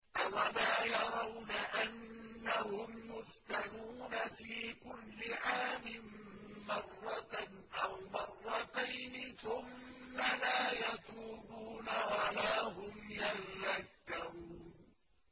أَوَلَا يَرَوْنَ أَنَّهُمْ يُفْتَنُونَ فِي كُلِّ عَامٍ مَّرَّةً أَوْ مَرَّتَيْنِ ثُمَّ لَا يَتُوبُونَ وَلَا هُمْ يَذَّكَّرُونَ